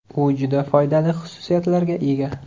U juda foydali xususiyatlarga ega.